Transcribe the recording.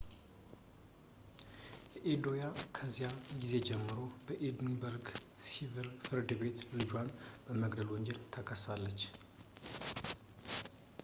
አዴኮያ ከዚያን ጊዜ ጀምሮ በኤድንበርግ ሸሪፍ ፍርድ ቤት ልጇን በመግደል ወንጀል ተከሳለች